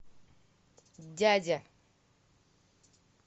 дядя